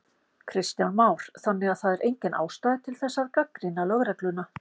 Kristján Már: Þannig að það er engin ástæða til þess að gagnrýna lögregluna?